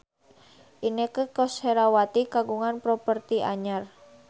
Inneke Koesherawati kagungan properti anyar